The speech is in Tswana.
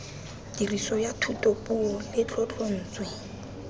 tiriso ya thutapuo le tlotlontswe